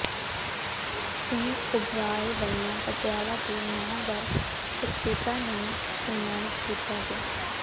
ਸਿੰਘ ਓਬਰਾਏ ਵਲ੍ਹੋੋਂ ਪਟਿਆਲਾ ਦੇ ਨਾਮਵਰ ਸ਼ਖਸੀਅਤਾ ਨੂੰ ਸਨਮਾਨਿਤ ਕੀਤਾ ਗਿਆ